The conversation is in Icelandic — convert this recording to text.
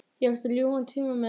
Ég átti ljúfan tíma með